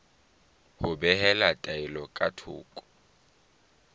ho behela taelo ka thoko